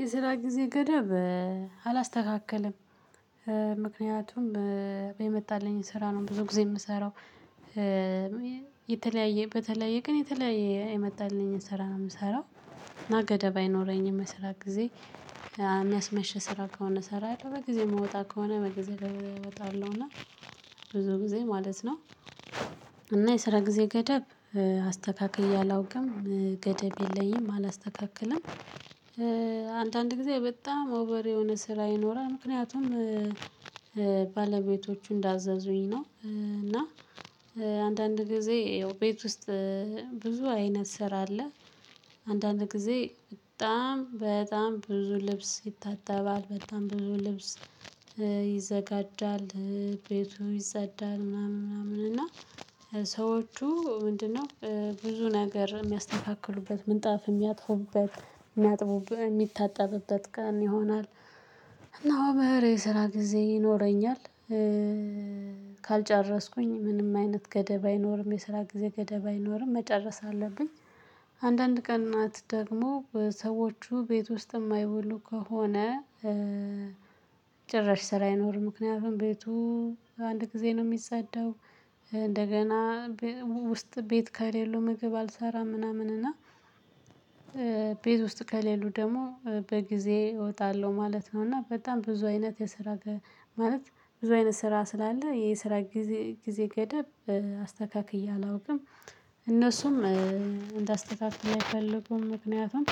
የስራ ጊዜ ገደብ አላስተካክልም። ምክንያቱም የመጣልኝን ስራ ነው ብዙ ጊዜ የምሰራው። የተለያየ በተለያየ ቀን የተለያየ የመጣልኝ ስራ ነው የምሰራው። እና ገደብ አይኖረኝም ስራ ጊዜ የሚያስመሸ ስራ ከሆነ እሰራለሁ። በጊዜ የምወጣ ከሆነ በጊዜ እወጣለሁ እና ብዙ ጊዜ ማለት ነው። እና የስራ ጊዜ ገደብ አስተካክየ አላውቅም ገደብ የለኝም አላስተካክልም። አንዳንድ ጊዜ በጣም ኦቨር የሆነ ስራ ይኖራል። ምክንያቱም ባለቤቶቹ እንዳዘዙኝ ነው። እና አንዳንድ ጊዜ ያው ቤት ውስጥ ብዙ አይነት ስራ አለ። አንዳንድ ጊዜ በጣም በጣም ብዙ ልብስ ይታጠባል በጣም ብዙ ልብስ ይዘጋጃል። ቤቱ ይጸዳል ምናምን ምናምን እና ሰዎቹ ምንድነው ብዙ ነገር የሚያስተካክሉበት ምንጣፍ የሚያጥፉበት የሚታጠብበት ቀን ይሆናል። እና ኦቨር የስራ ጊዜ ይኖረኛል። ካልጨረስኩኝ ምንም አይነት ገደብ አይኖርም የስራ ጊዜ ገደብ አይኖርም መጨረስ አለብኝ። አንዳንድ ቀን ናት ደግሞ ሰዎቹ ቤት ውስጥ የማይውሉ ከሆነ። ጭራሽ ስራ አይኖርም ምክንያቱም ቤቱ አንድ ጊዜ ነው የሚፀዳው። እንደገና ውስጥ ቤት ካሌሉ ምግብ አልሰራም ምናምን እና። ቤት ውስጥ ከሌሉ ደግሞ በጊዜ እወጣለሁ ማለት ነው። እና በጣም ብዙ አይነት የስራ ማለት ብዙ አይነት ስራ ስላለ የስራ ጊዜ ገደብ አስተካክዬ አላውቅም። እነሱም እንደ አስተካክል አይፈልጉም ምክንያቱም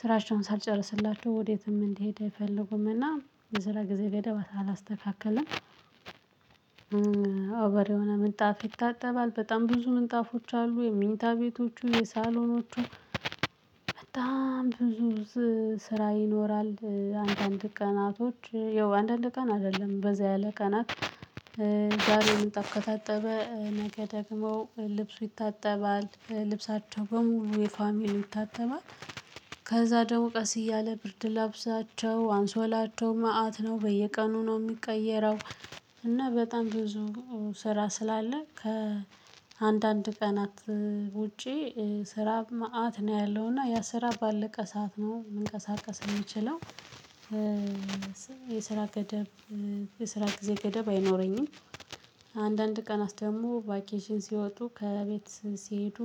ስራቸውን ሳልጨርስላቸው ወዴትም እንዲሄድ አይፈልጉምና። የስራ ጊዜ ገደብ አላስተካከለም። ኦቨር የሆነ ምንጣፍ ይታጠባል በጣም ብዙ ምንጣፎች አሉ የምኝታ ቤቶቹ የሳሎኖቹ በጣም ብዙ ስራ ይኖራል። አንዳንድ ቀናቶች ያው አንዳንድ ቀን አይደለም በዛ ያለ ቀናት። ዛሬ ምንጣፍ ከታጠበ ነገ ደግሞ ልብሱ ይታጠባል ልብሳቸው በሙሉ የፋሚሊ ይታጠባል። ከዛ ደግሞ ቀስ እያለ ብርድ ልብሳቸው አንሶላቸው መአት ነው በየቀኑ ነው የሚቀየረው። እና በጣም ብዙ ስራ ስላለ ከአንዳንድ ቀናት ውጪ ስራ መአት ነው ያለው እና ያ ስራ ባለቀ ሰዓት ነው መንቀሳቀስ የምችለው። የስራ ገደብ የስራ ጊዜ ገደብ አይኖረኝም። አንዳንድ ቀናት ደግሞ ቫኬሽን ሲወጡ ከቤት ሲሄዱ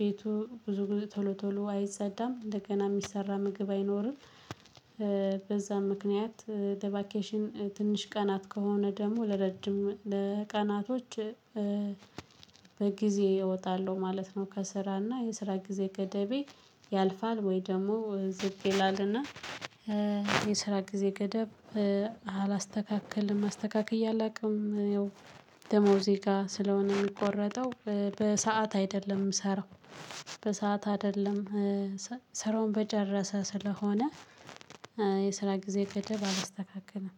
ቤቱ ብዙ ቶሎ ቶሎ አይፀዳም እንደገና የሚሰራ ምግብ አይኖርም። በዛ ምክንያት ለቫኬሽን ትንሽ ቀናት ከሆነ ደግሞ ለረጅም ቀናቶች በጊዜ እወጣለሁ ማለት ነው። ከስራና የስራ ጊዜ ገደቤ ያልፋል ወይ ደግሞ ዝቅ ይላልና። የስራ ጊዜ ገደብ አላስተካክልም አስተካክየ አላውቅም። ደሞዜ ጋ ስለሆነ የሚቆረጠው በሰአት አይደለም የምሰራው። በሰአት አይደለም ስራውን በጨረሰ ስለሆነ። የስራ ጊዜ ገደብ አላስተካክለም።